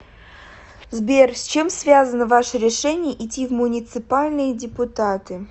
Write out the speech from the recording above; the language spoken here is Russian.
сбер с чем связано ваше решение идти в муниципальные депутаты